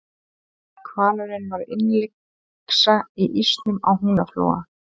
hvalurinn varð innlyksa í ísnum á húnaflóa